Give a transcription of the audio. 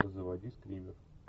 заводи скример